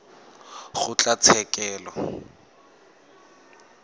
kgotlatshekelo